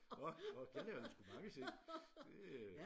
Og det lavede vi sgu mange ting det